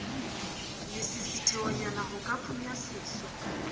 lesisithehonyana ho ka phunya seso